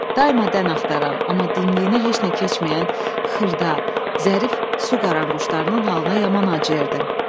Daima dən axtaran, amma dimdiyinə heç nə keçməyən xırda, zərif su qaranquşlarının halına yaman acıyırdı.